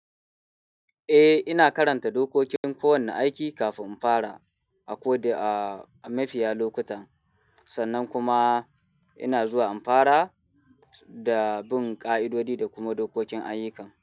Eh, ina karanta dokokin kowane aiki kafin in fara, a ko da-- a mafiya lokuta, sannan kuma ina zuwa in fara da bin ƙa'idodi da kuma dokokin ayyukan.